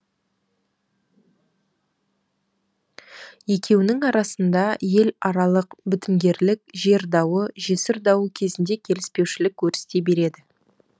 екеуінің арасында ел аралық бітімгерлік жер дауы жесір дауы кезінде келіспеушілік өрістей береді